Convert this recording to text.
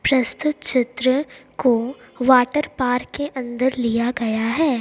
प्रस्तुत चित्र को वाटर पार्क के अंदर लिया गया हैं।